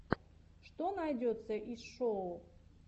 что найдется из шоу